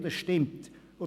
Dies ist richtig.